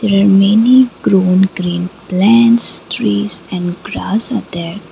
a many grown green plants trees and grass are there .